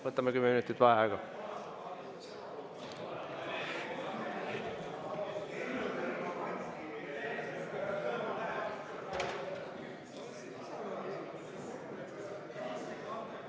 Võtame kümme minutit vaheaega.